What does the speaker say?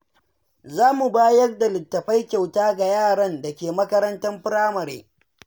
Za mu bayar da littattafai kyauta ga yaran da ke makarantar firamare.